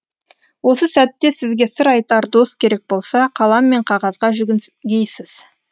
осы сәтте сізге сыр айтар дос керек болса қалам мен қағазға жүгінгейсіз